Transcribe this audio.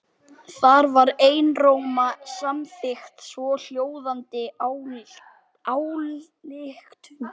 Þar var einróma samþykkt svohljóðandi ályktun